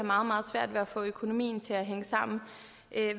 meget svært ved at få økonomien til at hænge sammen